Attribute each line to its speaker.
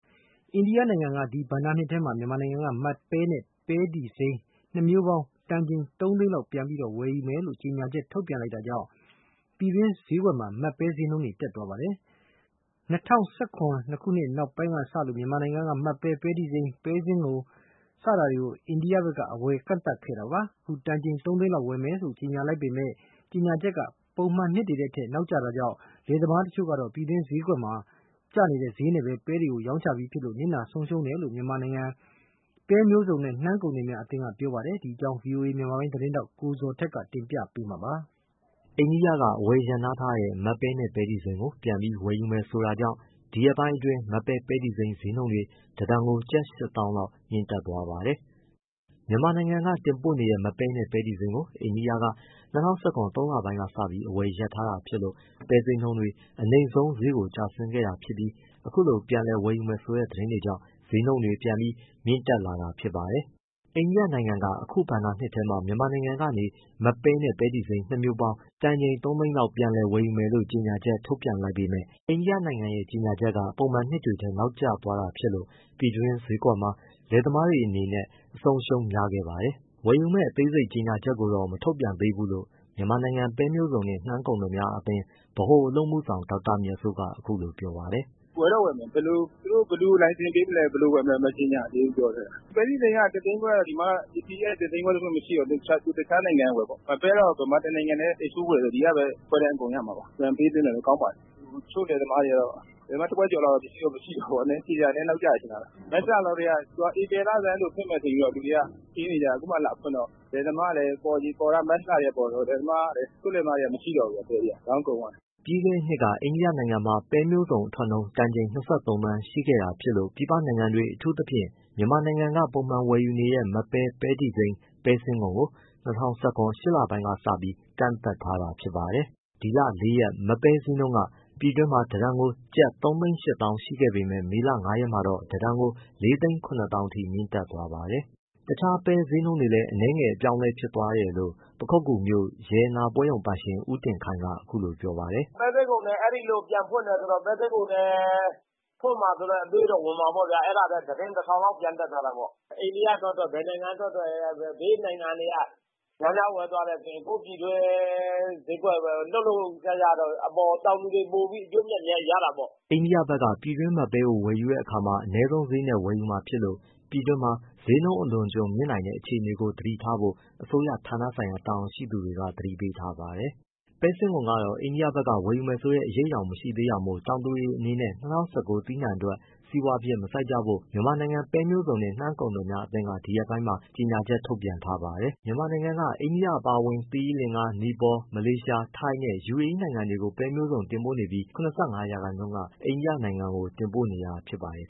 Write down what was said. Speaker 1: အိန္ဒိယနိုင်ငံက ဒီဘဏ္ဍာနှစ်ထဲမှာ မြန်မာနိုင်ငံက မတ်ပဲနဲ့ ပဲတီစိမ်း နှစ်မျိုးပေါင်း တန်ချိန်သုံးသိန်းလောက် ပြန်လည်ဝယ်ယူမယ်လို့ ကြေညာချက် ထုတ်ပြန်လိုက်တာကြောင့် ပြည်တွင်းဈေးကွက်မှာ မတ်ပဲဈေးနှုန်း တက်သွားပါတယ်။ ၂၀၁၇ ခုနှစ် နှစ်ကုန်ပိုင်းကစလို့ မြန်မာနိုင်ငံက မတ်ပဲ၊ ပဲတီစိမ်း၊ ပဲစိမ်းငုံတွေကို အိန္ဒိယဖက်က အဝယ်ကန့်သတ်ခဲ့တာပါ။ အခု တန်ချိန် ၃ သိန်းလောက်ဝယ်မယ်လို့ ကြေညာလိုက်ပေမဲ့ ကြေညာချက်ဟာ ပုံမှန်နှစ်တွေထက် နောက်ကျတာကြောင့် လယ်သမားတချို့ကတော့ ပြည်တွင်းဈေးကွက်မှာ ကျနေတဲ့ဈေးနဲ့ ပဲတွေကို ရောင်းချပြီးဖြစ်လို့ နစ်နာဆုံးရှုံးတယ်လို့ မြန်မာနိုင်ငံ ပဲမျိုးစုံနှင့် နှမ်းကုန်သည်များအသင်းက ပြောပါတယ်။ ဒီအကြောင်းကို ဗွီအိုအေ မြန်မာပိုင်းသတင်းထောက် ကိုဇော်ထက်က တင်ပြပေးမှာပါ။ အိန္ဒိယဘက်က အဝယ်ရပ်နား
Speaker 2: ထားတဲ့ မတ်ပဲနဲ့ ပဲတီစိမ်းကို ပြန်ပြီးဝယ်ယူမယ်ဆိုတာကြောင့် ဒီရက်ပိုင်း အတွင်း မတ်ပဲ၊ ပဲတီစိမ်း ဈေးနှုန်းတွေ တစ်တန်ကို ကျပ်ရှစ်သောင်းလောက် မြင့်တက်သွားပါတယ်။ မြန်မာနိုင်ငံက တင်ပို့နေတဲ့ မတ်ပဲနဲ့ ပဲတီစိမ်းကို အိန္ဒိယနိုင်ငံက ၂၀၁၇ သုံးလပိုင်းကစပြီး အဝယ်ရပ်ထားတာဖြစ်လို့ ပဲဈေးနှုန်းတွေ အနိမ့်ဆုံး ဈေးကိုကျဆင်းခဲ့တာဖြစ်ပြီး အခုလို ပြန်လည်ဝယ်ယူမယ်ဆိုတဲ့ သတင်းကြောင့် ဈေးနှုန်းတွေ ပြန်ပြီး မြင့်တက်လာတာ ဖြစ်ပါတယ်။ အိန္ဒိယနိုင်ငံက အခုဘဏ္ဍာနှစ်ထဲမှာ မြန်မာနိုင်ငံက မတ်ပဲနဲ့ ပဲတီစိမ်း နှစ်မျိုးပေါင်း တန်ချိန်သုံးသိန်းလောက် ပြန်လည်ဝယ်ယူမယ်လို့ ကြေညာချက် ထုတ်ပြန်လိုက်ပေမဲ့ အိန္ဒိယနိုင်ငံရဲ့ ကြေညာချက်ဟာ ပုံမှန်နှစ်တွေထက် နောက်ကျသွားတာ ဖြစ်လို့ ပြည်တွင်းဈေးကွက်မှာ ပဲဈေးကျဆင်းသွားပြီး လယ်သမားတွေအနေနဲ့ အဆုံးအရှုံးများခဲ့ပါတယ်။ ဝယ်ယူမယ့် အသေးစိတ် ကြေငြာချက် ကိုတော့ မထုတ်ပြန်သေးဘူးလို့ မြန်မာနိုင်ငံ ပဲမျိုးစုံနှင့် နှမ်းကုန်သည်များအသင်း ဗဟိုအလုပ်အမှုဆောင် ဒေါက်တာမြတ်စိုးက အခုလိုပြောပါတယ်။
Speaker 3: “ဝယ်တော့ဝယ်မယ် သူတို့ဘယ်လို လိုင်စင်ပေးမလဲ၊ ဘယ်လိုဝယ်မလဲ မကြေငြာသေးဘူးပြောတယ်။ ပဲတီစိမ်းက တစ်သိန်းခွဲဆိုတော့၊ ပစ္စည်းကဒီမှာလည်းမရှိတော့ သူတစ်ခြားနိုင်ငံကဝယ်ပေါ့။ မတ်ပဲကတော့ မြန်မာတစ်နိုင်ငံတည်းကပဲ export ဝယ်တယ်ဆိုတော့ ဒီကပဲ ခွဲတမ်းအကုန်ရမှာပါ။ ပြန်ပေးသွင်းတယ်ဆိုတော့ ကောင်းပါတယ်။ တချို့လယ်သမားတွေကတော့ လယ်သမား တစ်ဝက်ကျော်လောက်တော့ ပစ္စည်းမရှိတော့ဘူပေါ့။ ကြေငြာတာ နည်းနည်း နောက်ကျတယ်ထင်တယ်။ မတ်လလောက်ကတည်းက သူကဧပြီလဆန်းဆိုဖွင့်မယ်ဆိုပြီး လူတွေကထင်နေကြတာ အခုမှလာဖွင့် တော့ လယ်သမားကလည်း ပေါ်ချိန်က မတ်လကတည်းကပေါ်တာဆိုတော့ တချို့လယ်သမားတွေက ပဲတွေမရှိတော့ဘူး။ ရောင်းကုန်သ
Speaker 2: ွားပြီ။” ပြီးခဲ့တဲ့နှစ်က အိန္ဒိယနိုင်ငံမှာ ပဲမျိုးစုံအထွက်နှုန်း တန်ချိန် ၂၃သန်းရှိခဲ့တာကြောင့် ပြည်ပနိုင်ငံတွေ အထူးသဖြင့် မြန်မာနိုင်ငံက ပုံမှန်ဝယ်ယူတဲ့ မတ်ပဲ၊ ပဲတီစိမ်း၊ ပဲစင်းငုံကို ၂၀၁၇ ရှစ်လပိုင်း ကစပြီး ကန့်သတ်ထားတာဖြစ်ပါတယ်။ ဒီလ ၄ရက်က မတ်ပဲဈေးနှုန်းက ပြည်တွင်းမှာ တစ်တန်ကို ကျပ်၃၈၀,၀၀၀ ရှိခဲ့ပေမဲ့ မေလ ၅ရက်မှာတော့ တစ်တန်ကို ၄၇၀,၀၀၀ ထိ မြင့်တက်သွားပါတယ်။ အခြားပဲဈေးတွေလည်း အနည်းငယ် အပြောင်းအလဲ ဖြစ်သွားတယ်လို့ ပခုက္ကူမြို့ ရတနာပွဲရုံပိုင်ရှင် ကိုတင်ခိုင်ကအခုလိုပြောပါတယ်။
Speaker 3: “ပဲစင်းငုံလည်း အဲဒီလိုပြန်ဖွင့်တယ်ဆိုတော့ ပဲစင်းငုံလည်း ဖွင့်မှာဆိုတဲ့အတွေးတော့ ဝင်မှာပေါ့ဗျာ အဲဒါ တစ်တင်း တစ်ထောင် လောက် ပြန်တက်သွားတာပေါ့။ အိန္ဒိယထွက်ထွက် ဘယ်နိုင်ငံထွက်ထွက် ဘေးနိုင်ငံတွေက များများဝယ်သွားတယ်ဆိုရင် ကိုယ့်ပြည်တွင်းဈေးကွက် လှုပ်လှုပ်ရှားရှားတော့၊ တောင်သူတွေပိုပြီး အကျိုးအမြတ်များများ ရတာပေါ့
Speaker 2: ။” အိန္ဒိယဘက်က ပြည်တွင်းမတ်ပဲကို ဝယ်တဲ့အခါမှာ အနည်းဆုံးဈေးနဲ့ဝယ်ယူမှာဖြစ်လို့ ပြည်တွင်းမှာ ဈေးနှုန်းအလွန်အကျွံ မြင့်နိုင်တဲ့အခြေအနေကို သတိထားဖို့ အစိုးရဌာနဆိုင်ရာ တာဝန်ရှိသူတွေက သတိပေးထားပါတယ်။ ပဲစင်းငုံကတော့ အိန္ဒိယဘက်က ဝယ်ယူမယ်ဆိုတဲ့ အရိပ်အယောင်မရှိသေးတာမို့ တောင်သူတွေအနေနဲ့ ၂၀၁၉ သီးနှံအတွက် စီးပွားဖြစ်မစိုက်ကြဖို့ မြန်မာနိုင်ငံ ပဲမျိုးစုံနှင့် နှမ်းကုန်သည်များအသင်းက ဒီရက်ပိုင်းမှာ ကြေငြာချက်ထုတ်ပြန်ထားပါတယ်။ မြန်မာနိုင်ငံက အိန္ဒိယ အပါအဝင် သီရိလင်္ကာ၊ နီပေါ၊ မလေးရှား၊ ထိုင်းနဲ့ UAE နိုင်ငံတွေကို ပဲမျိုးစုံ တင်ပို့နေပြီး ၇၅ ရာခိုင်နှုန်းက အိန္ဒိယနိုင်ငံကို တင်ပို့နေတာဖြစ်ပါတယ်